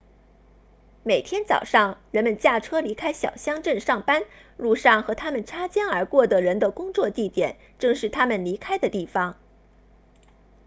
每天早上人们驾车离开小乡镇上班路上和他们擦肩而过的人的工作地点正是他们离开的地方